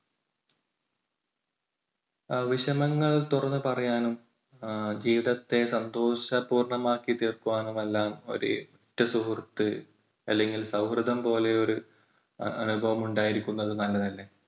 അഹ് വിഷമങ്ങൾ തുറന്നു പറയാനും ജീവിതത്തെ സന്തോഷ പൂർണ്ണമാക്കി തീർക്കുവാനും എല്ലാം ഒരു ഉറ്റ സുഹൃത്ത് അല്ലെങ്കിൽ സൗഹൃദം പോലെ ഒരു അനുഭവം ഉണ്ടായിരിക്കുന്നത് നല്ലതല്ലേ?